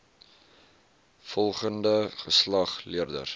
volgende geslag leerders